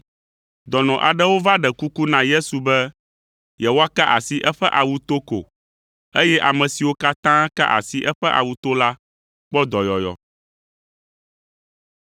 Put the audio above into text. Dɔnɔ aɖewo va ɖe kuku na Yesu be yewoaka asi eƒe awu to ko, eye ame siwo katã ka asi eƒe awu to la kpɔ dɔyɔyɔ.